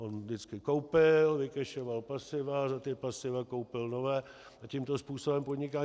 On vždycky koupil, vycashoval pasiva, za ta pasiva koupil nové a tímto způsobem podniká.